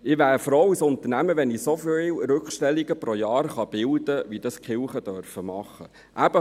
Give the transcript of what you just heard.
Ich wäre als Unternehmer froh, wenn ich pro Jahr so viele Rückstellungen bilden könnte, wie dies die Kirchen tun.